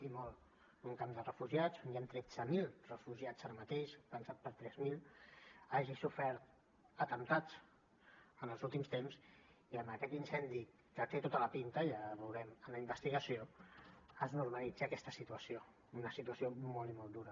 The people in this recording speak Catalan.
que en un camp de refugiats on hi han tretze mil refugiats ara mateix pensat per a tres mil hagi sofert atemptats en els últims temps i amb aquest incendi que té tota la pinta ja veurem amb la investigació es normalitzi aquesta situació una situació molt i molt dura